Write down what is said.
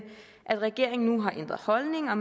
regeringen nu har ændret holdning og